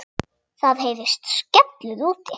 Það heyrist skellur úti.